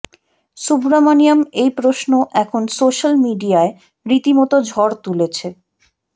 সুব্রমনিয়ম এই প্রশ্ন এখন সোশ্যাল মিডিয়ায় রীতিমতো ঝড় তুলেছে